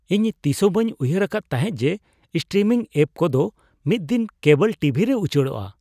ᱤᱧ ᱛᱤᱥᱦᱚᱸ ᱵᱟᱹᱧ ᱩᱭᱦᱟᱹᱨ ᱟᱠᱟᱫ ᱛᱟᱦᱮᱸ ᱡᱮ ᱥᱴᱨᱤᱢᱤᱝ ᱮᱹᱯ ᱠᱚᱫᱚ ᱢᱤᱫᱽᱫᱤᱱ ᱠᱮᱵᱚᱞ ᱴᱤᱵᱷᱤᱨᱮ ᱩᱪᱟᱲᱚᱜᱼᱟ ᱾